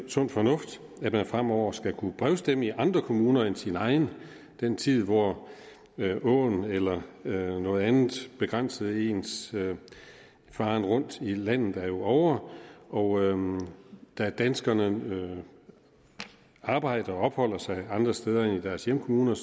sund fornuft at man fremover skal kunne brevstemme i andre kommuner end ens egen den tid hvor åen eller eller noget andet begrænsede ens faren rundt i landet er jo ovre og da danskerne arbejder og opholder sig andre steder end i deres hjemkommune